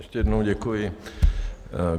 Ještě jednou děkuji.